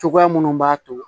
Cogoya minnu b'a to